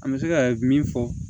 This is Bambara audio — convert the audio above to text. An bɛ se ka min fɔ